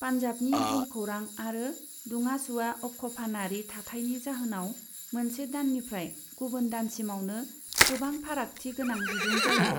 पान्जाबनि भुमखौरां आरो दुङा सुवा अक्षफानारि थाथायनि जाहोनाव मोनसे दाननिफ्राय गुबुन दानसिमावनो गोबां फारागथि गोनां बिदुं जायो।